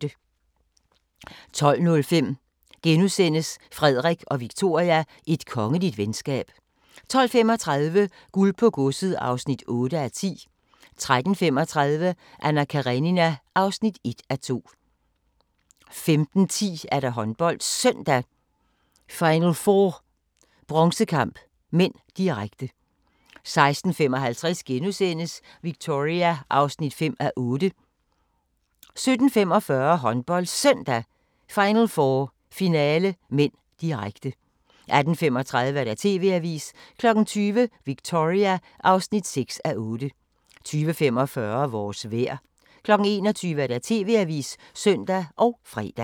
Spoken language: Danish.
12:05: Frederik og Victoria – Et kongeligt venskab * 12:35: Guld på godset (8:10) 13:35: Anna Karenina (1:2) 15:10: HåndboldSøndag: Final4 – Bronzekamp (m), direkte 16:55: Victoria (5:8)* 17:45: HåndboldSøndag: Final4 – Finale (m), direkte 18:35: TV-avisen 20:00: Victoria (6:8) 20:45: Vores vejr 21:00: TV-avisen (søn og fre)